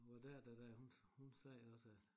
Hvor der der der hun hun sagde også at